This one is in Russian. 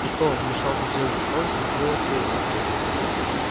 что вмешался джеймс орси делает вересов